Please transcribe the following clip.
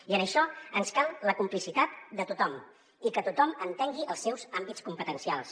i en això ens cal la complicitat de tothom i que tothom entengui els seus àmbits competencials